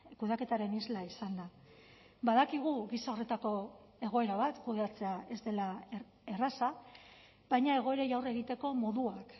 kudeaketaren isla izan da badakigu gisa horretako egoera bat kudeatzea ez dela erraza baina egoerei aurre egiteko moduak